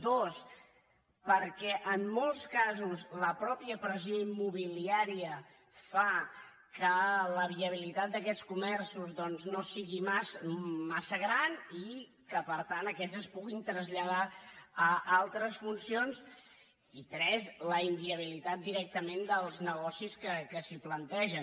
dos perquè en molts casos la mateixa pressió immobiliària fa que la viabilitat d’aquests comerços doncs no sigui massa gran i que per tant aquests es puguin traslladar a altres funcions i tres la inviabilitat directament dels negocis que s’hi plantegen